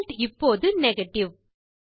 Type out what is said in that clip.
result இப்போது negative